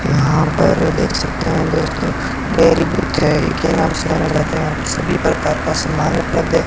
यहां पर आप देख सकते हैं सभी प्रकार का समान उपलब्ध है।